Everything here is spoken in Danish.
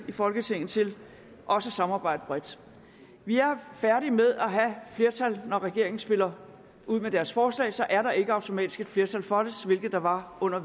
i folketinget til også at samarbejde bredt vi er færdige med at have flertal når regeringen spiller ud med deres forslag så er der ikke automatisk et flertal for det hvilket der var under